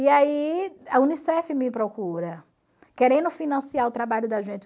E aí a Unicef me procura, querendo financiar o trabalho da gente.